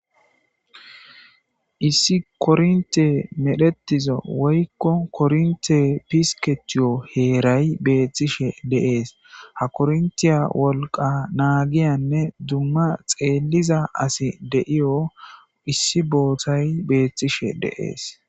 Issi kornte medhetiza woykko kornte pisketiyo heeray beettishe deees ha korntiya wolqa naagiyanne dumma xeelliza asi deiyo issi bootay beethtishe deees.